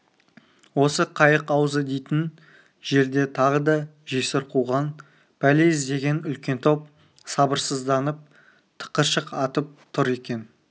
осы қайық аузы дейтін жерде тағы да жесір қуған пәле іздеген үлкен топ сабырсызданып тықыршық атып тұр екен